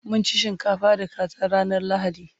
mun ci shinkafa da kaza ranar lahadi